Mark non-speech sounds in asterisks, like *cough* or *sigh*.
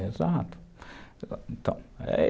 exato *unintelligible*